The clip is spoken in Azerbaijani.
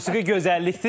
Musiqi gözəllikdir.